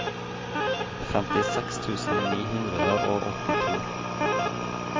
femtiseks tusen ni hundre og åttito